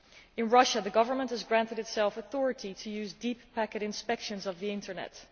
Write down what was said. In Russia, the government has granted itself authority to use deep packet inspections of the internet.